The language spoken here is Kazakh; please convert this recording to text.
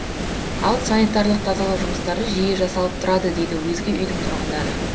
ал санитарлық тазалау жұмыстары жиі жасалып тұрады дейді өзге үйдің тұрғындары